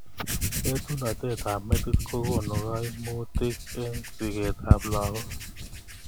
Etunotet ab metit kokonu kaimutik eng siket ab lakok.